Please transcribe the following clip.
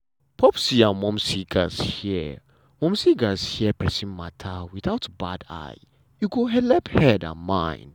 popsi and momsi gatz hear momsi gatz hear persin matter without bad eye e go helep head and mind.